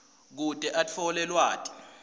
kute atfole lwati